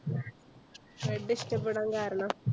red ഇഷ്ടപ്പെടാൻ കാരണം?